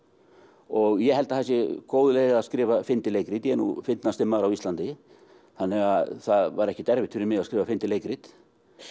og ég held að það sé góð leið að skrifa fyndið leikrit ég er nú fyndnasti maður á Íslandi þannig að það var ekkert erfitt fyrir mig að skrifa fyndið leikrit